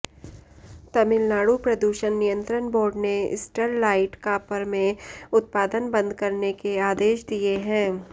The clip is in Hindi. तमिलनाडु प्रदूषण नियंत्रण बोर्ड ने स्टरलाइट कॉपर में उत्पादन बंद करने के आदेश दिए हैं